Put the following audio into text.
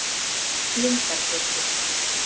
Lundargötu